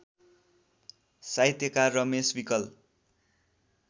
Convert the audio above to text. साहित्यकार रमेश विकल